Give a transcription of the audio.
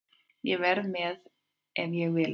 Ég verð með ef ég vil það.